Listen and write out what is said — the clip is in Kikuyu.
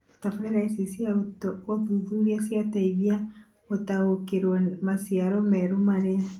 Tabarĩra ici cia ũthuthuria cirateithia gũtaũkĩrũo maciaro merũ marĩa